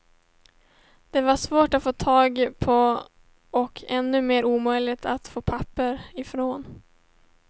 De var svåra att få tag på och ännu mer omöjliga att få papper ifrån.